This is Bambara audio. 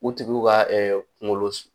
U tigiw ka kungolo sun